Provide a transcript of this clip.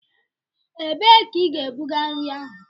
Ebee ka ị ga-ebuga nri ahụ?